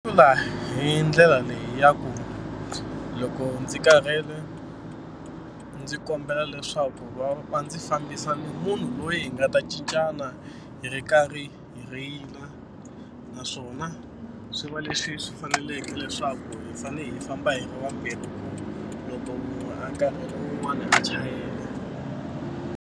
Kula hi ndlela leyi ya ku loko ndzi karhele ndzi kombela leswaku va va ndzi fambisa ni munhu loyi hi nga ta cincana hi ri karhi hi rheyila naswona swi va leswi swi faneleke leswaku hi fanele hi famba hi ri vambirhi ku loko un'we a karhele loyi un'wana a chayela.